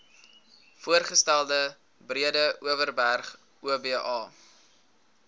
voorgestelde breedeoverberg oba